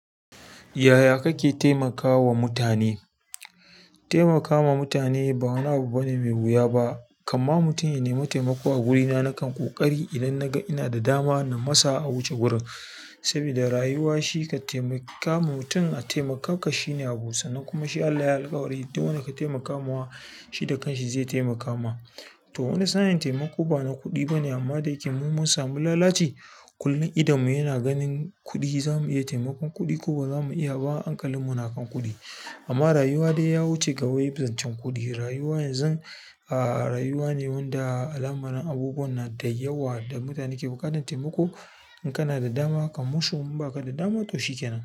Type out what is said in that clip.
Yaya kake taimakawa mutane? Taimakawa mutane ba wani abu bane mai wuya ba, kama mutum ya nema taimako a wurina nakan ƙoƙari idan naga ina da dama na masa a wuce gurin. Sabida rayuwa shi ka taimaka ma mutum a taimaka ka shine abun sana'a kuma shi Allah ya alkawari duk wanda ka taimakawa shi da kanshi zai taimaka ma. To wani sa'in taimako bana kuɗi bane amma da yake mun mun samu lalaci kullum idonmu yana ganin kuɗi zamu iya taimakon kuɗi ko bazamu iya ba hankalin mu na kan kuɗi. Amma rayuwa dai ya wuce ga wai zancen kuɗi, rayuwa yanzu, aa rayuwa ne wanda al'amarun abubuwa na da yawa da mutane ke buƙatar taimako. In kana da dama kamo su in ba ka da dama to shikenan.